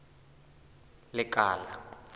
lekala